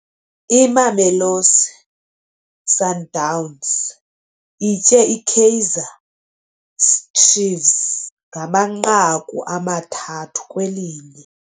Imamelosi Sundowns itye iKaizer Chiefs ngamanqaku amathathu kwelinye.